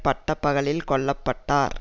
பட்ட பகலில் கொல்ல பட்டார்